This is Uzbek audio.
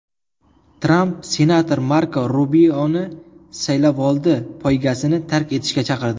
Tramp senator Marko Rubioni saylovoldi poygasini tark etishga chaqirdi.